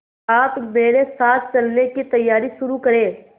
आप मेरे साथ चलने की तैयारी शुरू करें